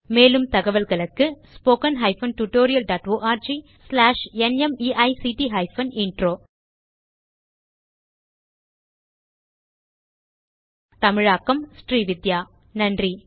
மேலும் தகவல்களுக்கு httpspoken tutorialorgNMEICT Intro தமிழாக்கம் srividhyaஸ் நன்றி